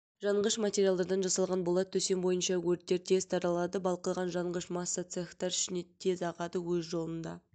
жанғыш материалдардан жасалған болат төсем бойынша өрттер тез таралады балқыған жанғыш масса цехтер ішіне тез ағады өз жолында